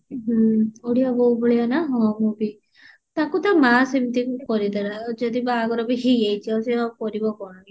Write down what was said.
ହୁଁ ଓଡିଆ ବୋହୂ ଭଳିଆ ନା ହୁଁ ହଁ ବେ ତାକୁ ତା ମା ସେମିତି କରେଇଦେଲା ଯଦି ବାହାଘର ବି ହେଇ ଯାଉଛି ଆଉ ସେ ଆଉ କରିବ କଣ